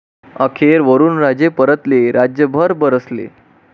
अखेर वरुणराजे परतले, राज्यभर बरसले